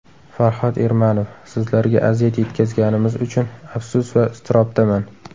Farhod Ermanov: Sizlarga aziyat yetkazganimiz uchun afsus va iztirobdaman .